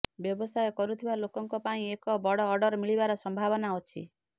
ବ୍ୟବସାୟ କରୁଥିବା ଲୋକଙ୍କ ପାଇଁ ଏକ ବଡ ଅର୍ଡର ମିଳିବାର ସମ୍ଭାବନା ଅଛି